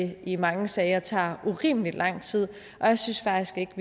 det i mange sager tager urimeligt lang tid og jeg synes faktisk ikke